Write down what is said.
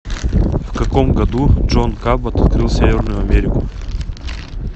в каком году джон кабот открыл северную америку